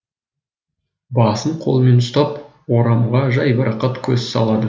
басын қолымен ұстап орамға жайбарақат көз салады